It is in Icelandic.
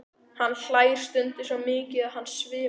Hann hlær stundum svo mikið að hann svimar.